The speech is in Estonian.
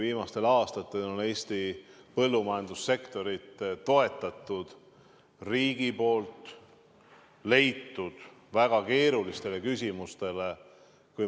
Viimastel aastatel on Eesti põllumajandussektorit toetatud riigi poolt väga palju, on leitud lahendusi väga keerulistele küsimustele.